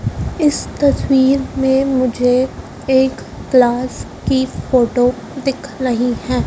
इस तस्वीर में मुझे एक क्लास की फोटो दिख रही है।